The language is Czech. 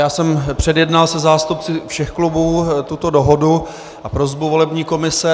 Já jsem předjednal se zástupci všech klubů tuto dohodu a prosbu volební komise.